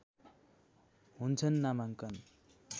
हुन्छन् नामाङ्कन